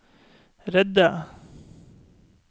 redde